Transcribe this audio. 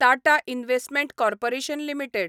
Tata investment corporation limited